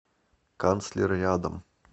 канцлер рядом